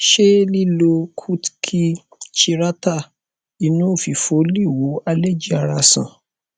se lilo kutki chirata inu ofifo le wo allergy ara san